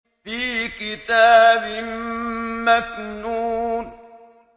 فِي كِتَابٍ مَّكْنُونٍ